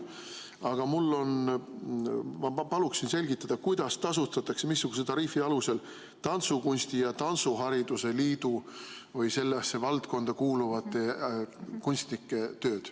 Aga ma palun selgitada, kuidas, missuguse tariifi alusel tasustatakse tantsukunsti ja tantsuhariduse liidu või sellesse valdkonda kuuluvate kunstnike tööd.